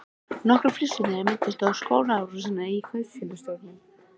Nokkrir flissuðu þegar minnst var á skotárásina á kaupfélagsstjórann.